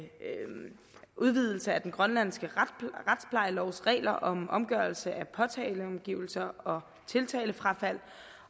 udvidelse af den grønlandske retsplejelovs regler om omgørelse af påtaleopgivelser og tiltalefrafald